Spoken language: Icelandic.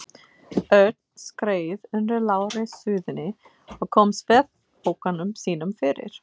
Örn skreið undir lágri súðinni og kom svefnpokanum sínum fyrir.